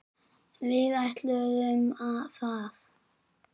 Við ætluðum það.